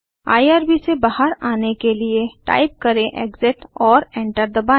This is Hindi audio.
आईआरबी से बाहर आने के लिए टाइप करें एक्सिट और एंटर दबाएँ